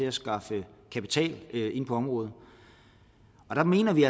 at skaffe kapital ind på området der mener vi